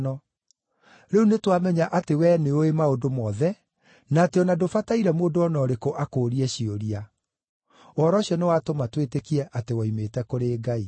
Rĩu nĩtwamenya atĩ wee nĩũũĩ maũndũ mothe, na atĩ o na ndũbataire mũndũ o na ũrĩkũ akũũrie ciũria. Ũhoro ũcio nĩwatũma twĩtĩkie atĩ woimĩte kũrĩ Ngai.”